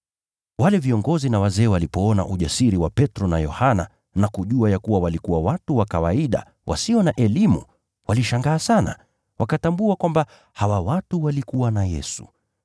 Wale viongozi na wazee walipoona ujasiri wa Petro na Yohana na kujua ya kuwa walikuwa watu wa kawaida, wasio na elimu, walishangaa sana, wakatambua kwamba hawa watu walikuwa na Yesu.